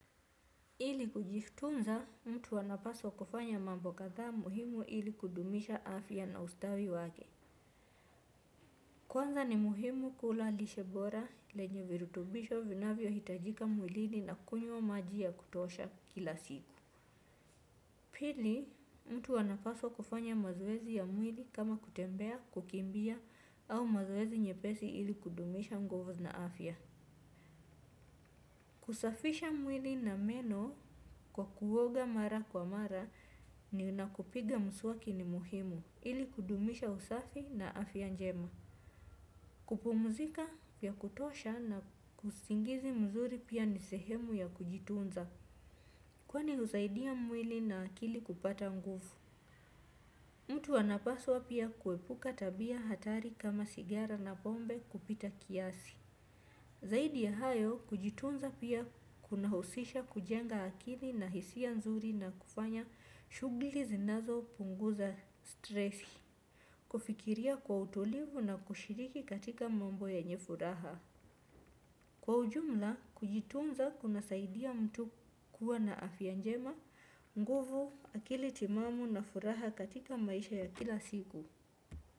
Ili kujitunza, mtu anapaswa kufanya mambo kadhaa muhimu ili kudumisha afya na ustawi wake. Kwanza ni muhimu kula lishe bora lenye virutubisho vinavyohitajika mwilini na kunywa maji ya kutosha kila siku. Pili, mtu anapaswa kufanya mazoezi ya mwili kama kutembea, kukimbia au mazoezi nyepesi ili kudumisha nguvu na afya. Kusafisha mwili na meno kwa kuoga mara kwa mara na kupiga mswaki ni muhimu ili kudumisha usafi na afya njema. Kupumzika ya kutosha na usingizi mzuri pia ni sehemu ya kujitunza kwani husaidia mwili na akili kupata nguvu. Mtu anapaswa pia kuepuka tabia hatari kama sigara na pombe kupita kiasi. Zaidi ya hayo kujitunza pia kunahusisha kujenga akili na hisia nzuri na kufanya shughuli zinazopunguza stress. Kufikiria kwa utulivu na kushiriki katika mambo yenye furaha. Kwa ujumla, kujitunza kunasaidia mtu kuwa na afya njema, nguvu, akili timamu na furaha katika maisha ya kila siku.